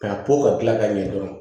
K'a to ka kila ka ɲɛ dɔrɔn